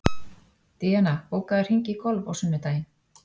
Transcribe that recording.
Díana, bókaðu hring í golf á sunnudaginn.